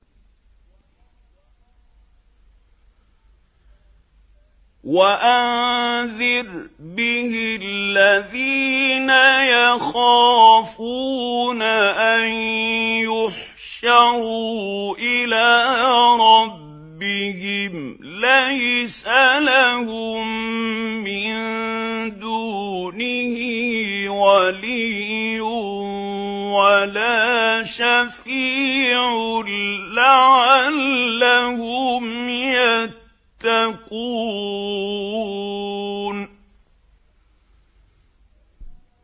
وَأَنذِرْ بِهِ الَّذِينَ يَخَافُونَ أَن يُحْشَرُوا إِلَىٰ رَبِّهِمْ ۙ لَيْسَ لَهُم مِّن دُونِهِ وَلِيٌّ وَلَا شَفِيعٌ لَّعَلَّهُمْ يَتَّقُونَ